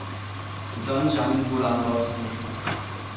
En sådan chance burde andre også have.